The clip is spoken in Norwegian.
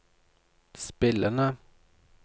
spillende